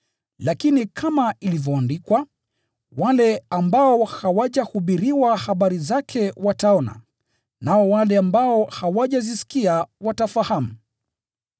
Lakini kama ilivyoandikwa: “Wale ambao hawajahubiriwa habari zake wataona, nao wale ambao hawajazisikia watafahamu.”